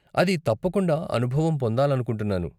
అది తప్పకుండా అనుభవం పొందాలనుకుంటున్నాను.